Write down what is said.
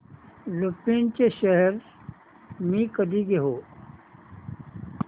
लुपिन चे शेअर्स मी कधी घेऊ